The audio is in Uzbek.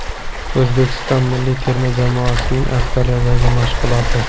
O‘zbekiston milliy terma jamoasining Avstraliyadagi mashg‘uloti.